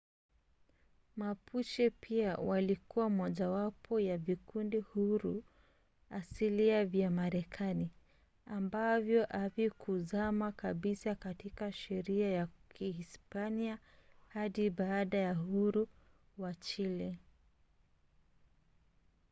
mapuche pia walikuwa mojawapo ya vikundi huru asilia vya marekani ambavyo havikuzama kabisa katika sheria ya kihispania hadi baada ya uhuru wa chile